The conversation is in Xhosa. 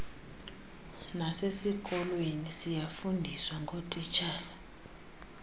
nasesikolweni siyafundiswa ngotishala